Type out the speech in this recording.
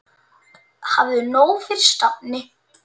Hafðu nóg fyrir stafni.